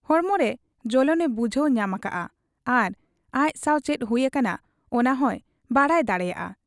ᱦᱚᱲᱢᱚᱨᱮ ᱡᱚᱞᱚᱱ ᱮ ᱵᱩᱡᱷᱟᱹᱣ ᱧᱟᱢ ᱟᱠᱟᱜ ᱟ ᱟᱨ ᱟᱡ ᱥᱟᱶ ᱪᱮᱫ ᱦᱩᱭ ᱟᱠᱟᱱᱟ ᱚᱱᱟᱦᱚᱸᱭ ᱵᱟᱰᱟᱭ ᱫᱟᱲᱮᱭᱟᱫ ᱟ ᱾